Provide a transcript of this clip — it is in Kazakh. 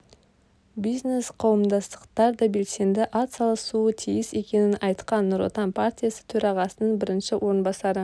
бизнес қауымдастықтар да белсенді ат салысуы тиіс екенін айтқан нұр отан партиясы төрағасының бірінші орынбасары